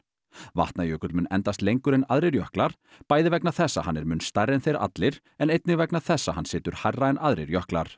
Vatnajökull mun endast lengur en aðrir jöklar bæði vegna þess að hann er mun stærri en þeir allir en einnig vegna þess að hann situr hærra en aðrir jöklar